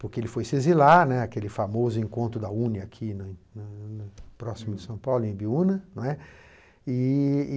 Porque ele foi se exilar, né, aquele famoso encontro da u nê ê aqui, próximo de São Paulo, em Biuna, né. E